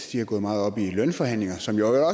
de har gået meget op i lønforhandlinger som jo